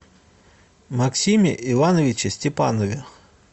максиме ивановиче степанове